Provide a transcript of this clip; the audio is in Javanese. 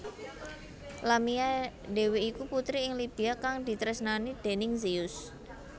Lamia dhéwé iku putri ing Libya kang ditresnani déning Zeus